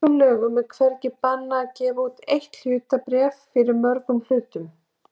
Í íslenskum lögum er hvergi bannað að gefa út eitt hlutabréf fyrir mörgum hlutum.